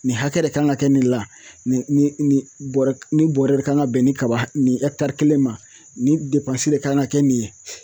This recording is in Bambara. Nin hakɛ de kan ka kɛ nin la, nin bɔrɛ nin bɔrɛ de kan ka bɛn ni kaba nin kelen ma nin de kan ka kɛ nin ye